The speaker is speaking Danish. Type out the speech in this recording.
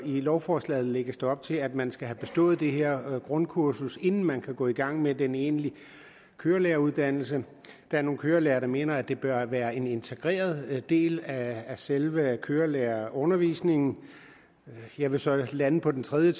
lovforslaget lægges der op til at man skal have bestået det her grundkursus inden man kan gå i gang med den egentlige kørelæreruddannelse der er nogle kørelærere der mener at det bør være en integreret del af selve kørelærerundervisningen jeg vil så lande på en tredje